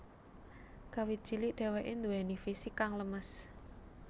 Kawit cilik dheweke duweni fisik kang lemes